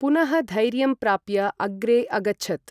पुनःधैर्यं प्राप्य अग्रे अगच्छत्।